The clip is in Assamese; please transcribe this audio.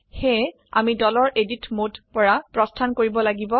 সেয়ে আমি দলৰ এডিট মোড পৰা প্ৰস্থান কৰিব লাগিব